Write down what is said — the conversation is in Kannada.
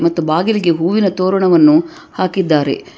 ಮತ್ತು ಬಾಗಿಲಿಗೆ ಹೂವಿನ ತೋರಣವನ್ನು ಹಾಕಿದ್ದಾರೆ.